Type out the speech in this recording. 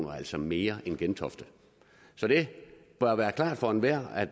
og altså mere end gentofte så det bør være klart for enhver at